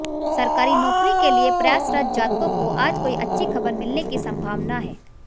सरकारी नौकरी के लिए प्रयासरत जातकों को आज कोई अच्छी खबर मिलने की संभावना है